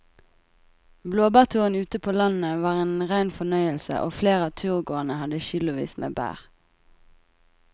Blåbærturen ute på landet var en rein fornøyelse og flere av turgåerene hadde kilosvis med bær.